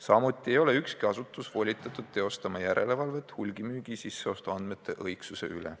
Samuti ei ole ükski asutus volitatud teostama järelevalvet hulgimüügi sisseostuandmete õigsuse üle.